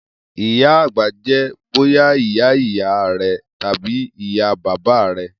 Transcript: iya agba jẹ boya iya iya rẹ tabi iya baba rẹ.